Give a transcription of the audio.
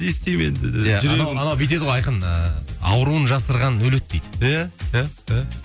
не істеймін енді жүрегім анау анау бүйтеді ғой айқын ыыы ауруын жасырған өледі дейді иә иә иә